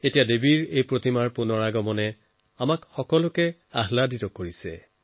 এতিয়া তেওঁৰ প্ৰতিমা ঘূৰাই অনাটো আমাৰ সকলোৰে বাবে আনন্দৰ বিষয়